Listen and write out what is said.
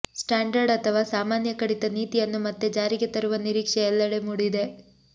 standard ಅಥವಾ ಸಾಮಾನ್ಯ ಕಡಿತ ನೀತಿಯನ್ನು ಮತ್ತೆ ಜಾರಿಗೆ ತರುವ ನಿರೀಕ್ಷೆ ಎಲ್ಲೆಡೆ ಮೂಡಿದೆ